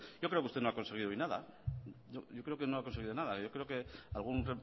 yo creo que usted no ha conseguido hoy nada yo creo que no ha conseguido nada yo creo que algún